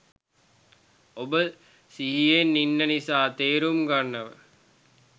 ඔබ සිහියෙන් ඉන්න නිසා තේරුම් ගන්නව